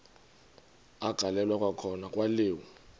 agaleleka kwakhona kwaliwa